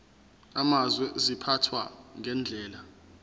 amazwe ziphathwa ngendlela